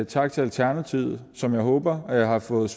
tak til alternativet som jeg håber har fået